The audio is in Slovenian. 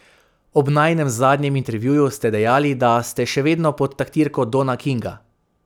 Ob najinem zadnjem intervjuju ste dejali, da ste še vedno pod taktirko Dona Kinga.